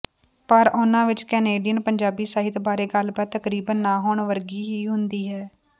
ਪਰ ਉਨ੍ਹਾਂ ਵਿੱਚ ਕੈਨੇਡੀਅਨ ਪੰਜਾਬੀ ਸਾਹਿਤ ਬਾਰੇ ਗੱਲਬਾਤ ਤਕਰੀਬਨ ਨ ਹੋਣ ਵਰਗੀ ਹੀ ਹੁੰਦੀ ਹੈ